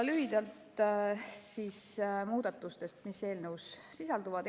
Lühidalt muudatustest, mis eelnõus sisalduvad.